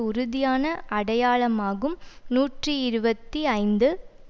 உறுதியான அடையாளமாகும் நூற்றி இருபத்தி ஐந்து